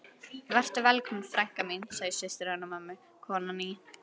Vertu velkomin frænka mín, segir systir hennar mömmu, konan í